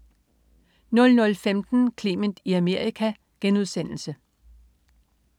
00.15 Clement i Amerika*